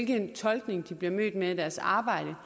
den tolkning de bliver mødt med i deres arbejde